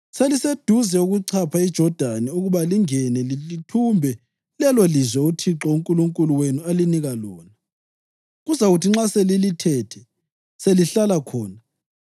Seliseduze ukuchapha iJodani ukuba lingene lithumbe lelolizwe uThixo uNkulunkulu wenu alinika lona. Kuzakuthi nxa selilithethe selihlala khona,